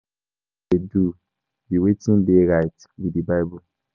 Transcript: Wetin I dey do be wetin dey right with the bible